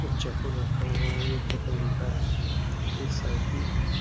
कुछ चप्पल रखा हुआ है एक चप्पल उल्टा है एक साइकिल हैं।